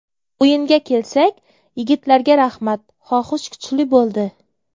O‘yinga kelsak, yigitlarga rahmat, xohish kuchli bo‘ldi.